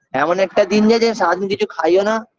এমন একটা দিন গেছে সারা দিন কিছু খাইও না